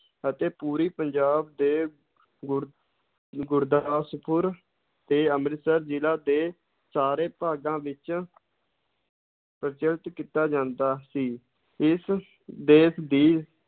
ਅਤੇ ਪੂਰੀ ਪੰਜਾਬ ਦੇ ਗੁਰ~ ਗੁਰਦਾਸਪੁਰ ਤੇ ਅੰਮ੍ਰਿਤਸਰ ਜ਼ਿਲ੍ਹਾ ਦੇ ਸਾਰੇ ਭਾਗਾਂ ਵਿੱਚ ਪ੍ਰਚਲਿਤ ਕੀਤਾ ਜਾਂਦਾ ਸੀ, ਇਸ ਦੇਸ ਦੀ